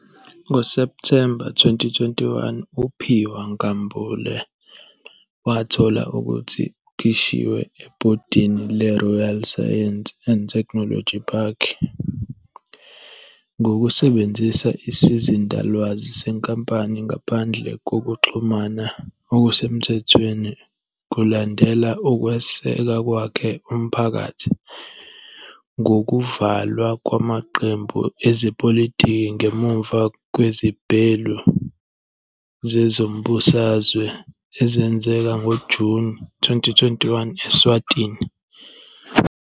NgoSepthemba 2021 uPhiwa Nkambule wathola ukuthi ukhishiwe ebhodini leRoyal Science and Technology Park ngokusebenzisa isizindalwazi senkampani ngaphandle kokuxhumana okusemthethweni kulandela ukweseka kwakhe umphakathi ngokuvalwa kwamaqembu ezepolitiki ngemuva kwezibhelu zezombusazwe ezenzeka ngoJuni 2021 Eswatini.